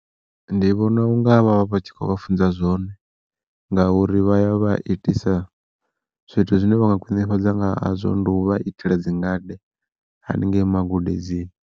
Ndi vhona unga vha vha vha tshi khou vha funza zwone, ngauri vha ya vha itisa zwithu zwine vha nga khwiṋifhadza nga hazwo ndi u vha itela dzingade haningei magudedzini.